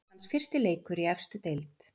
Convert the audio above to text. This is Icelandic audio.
Hans fyrsti leikur í efstu deild.